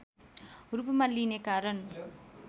रूपमा लिइने कारण